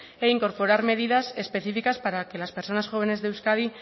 e incorporar medidas específicas para que las personas jóvenes de euskadi